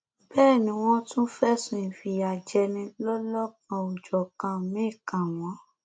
bẹẹ ni wọn tún fẹsùn ìfìyàjẹni lọlọkanòjọkan míín kàn wọn